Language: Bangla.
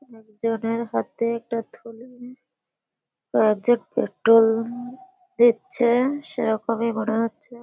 একজনের হাতে একটা থলি । ও একজন পেট্রোল দিচ্ছে। সেরকমই মনে হচ্ছে।